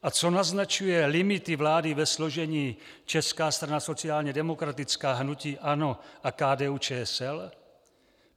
A co naznačuje limity vlády ve složení Česká strana sociální demokratická, hnutí ANO a KDU-ČSL?